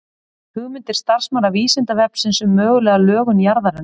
Hugmyndir starfsmanna Vísindavefsins um mögulega lögun jarðarinnar.